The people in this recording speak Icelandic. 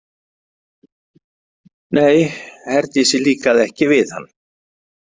Nei, Herdísi líkaði ekki við hann.